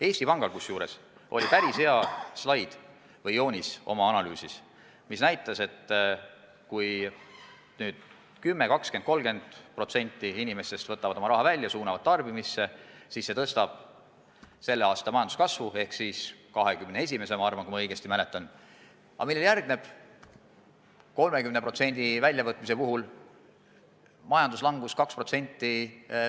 Eesti Panga analüüsis oli päris hea joonis, mis näitas, et kui 10, 20 või 30% inimestest võtab oma raha välja ja suunab tarbimisse, siis see suurendab 2021. aasta majanduskasvu, aga kui ma õigesti mäletan, siis ülejärgmisel aastal järgneb sel juhul, kui 30% inimestest võtab raha välja, majanduslangus 2%.